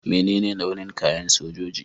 Mene ne launin kayan sojoji?